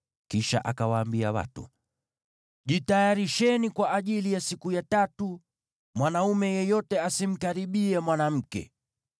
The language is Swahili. Kisha akawaambia watu, “Jitayarisheni kwa ajili ya siku ya tatu. Mwanaume yeyote asimkaribie mwanamke.”